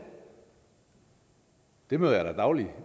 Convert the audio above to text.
det møder jeg da dagligt